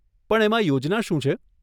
પણ એમાં યોજના શું છે?